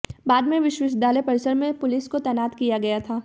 बाद में विश्वविद्यालय परिसर में पुलिस को तैनात किया गया